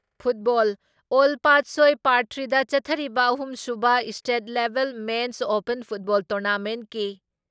football ꯑꯣꯜ ꯄꯥꯠꯁꯣꯏ ꯄꯥꯔꯠꯊ꯭ꯔꯤꯗ ꯆꯠꯊꯔꯤꯕ ꯑꯍꯨꯝꯁꯨꯕ ꯏꯁꯇꯦꯠ ꯂꯦꯕꯦꯜ ꯃꯦꯟꯁ ꯑꯣꯄꯟ ꯐꯨꯠꯕꯣꯜ ꯇꯣꯔꯅꯥꯃꯦꯟꯀꯤ